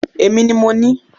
Èmi ni mo ní